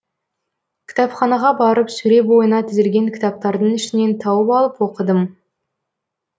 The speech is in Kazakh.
кітапханаға барып сөре бойына тізілген кітаптардың ішінен тауып алып оқыдым